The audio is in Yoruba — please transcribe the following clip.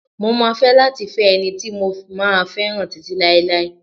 Mo máa fẹ́ láti fẹ́ ẹni tí mo máa fẹ́ràn títí láéláé.